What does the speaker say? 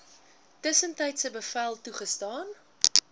tussentydse bevel toegestaan